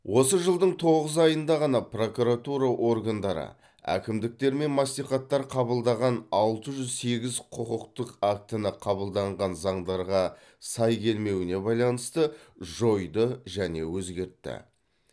осы жылдың тоғыз айында ғана прокуратура органдары әкімдіктер мен мәслихаттар қабылдаған алты жүз сегіз құқықтық актіні қабылданған заңдарға сай келмеуіне байланысты жойды және өзгертті